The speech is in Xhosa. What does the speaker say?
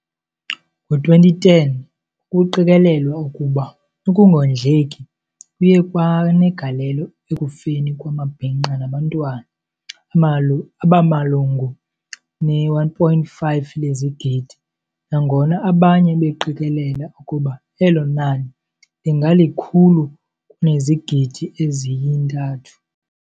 Ngo-2010 kuqikelelwa ukuba ukungondleki kuye kwanegalelo ekufeni kwamabhinqa nabantwana abamalungu ne-1.5 lezigidi nangona abanye beqikelela ukuba elo nani lingalikhulu kunezigidi eziyi-3.